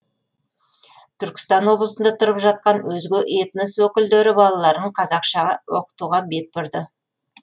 түркістан облысында тұрып жатқан өзге этнос өкілдері балаларын қазақша оқытуға бет бұрды